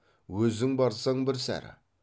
өзің барсаң бір сәрі